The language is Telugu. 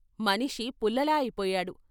మనిషి పుల్ల లా అయిపోయాడు.